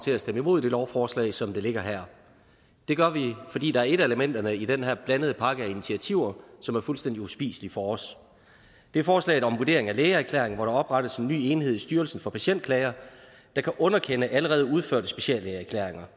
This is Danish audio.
til at stemme imod det lovforslag som det ligger her det gør vi fordi der er et af elementerne i den her blandede pakke af initiativer som er fuldstændig uspiselig for os og det er forslaget om vurderingen af lægeerklæringen hvor der oprettes en ny enhed i styrelsen for patientklager der kan underkende allerede udførte speciallægeerklæringer